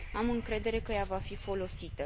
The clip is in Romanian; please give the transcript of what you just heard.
Am încredere că ea va fi folosită.